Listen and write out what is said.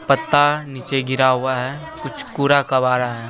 पत्ता नीचे गिरा हुआ है कुछ कूड़ा कबाड़ा है।